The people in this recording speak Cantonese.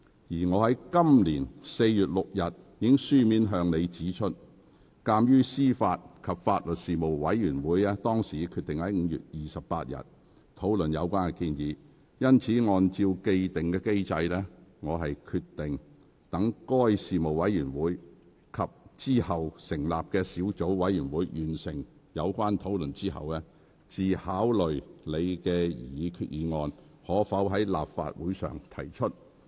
在本年4月6日，我已書面向你指出，鑒於司法及法律事務委員會已決定於5月28日討論有關的立法建議，因此按照既定機制，我決定待該事務委員會及之後成立的小組委員會完成有關討論後，才考慮你的擬議決議案可否在立法會會議上提出。